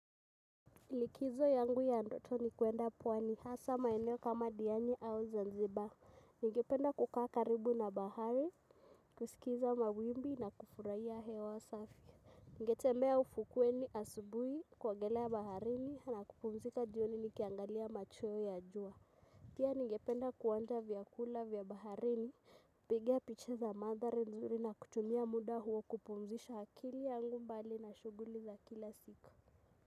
Likizo yangu ya ndoto ni kwenda pwani hasa maeneo kama diani au Zanzibar. Ningependa kukaa karibu na bahari, kusikiliza mawimbi na kufurahia hewa safi. Ningetembea ufukweni asubuhi kuangalia baharini na kupumzika jioni nikiangalia machweo ya jua. Pia ningependa kuonja vyakula vya baharini. Piga picha za madhari nzuri na kutumia muda huo kupumzisha akili yangu mbali na shughuli za kila siku.